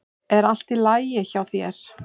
Er allt í lagi hjá þér?